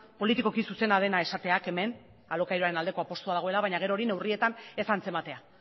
politikoki zuzena dena esateak hemen alokairuaren aldeko apustua dagoela baina gero hori neurrietan ez antzematea